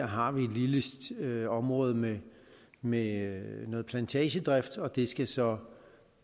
har et lille område med med noget plantagedrift og det skal så